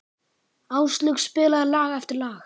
Áslaug spilaði lag eftir lag.